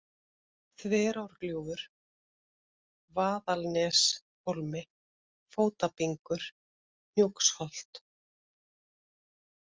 Þverárgljúfur, Vaðalsneshólmi, Fótabingur, Hnjúksholt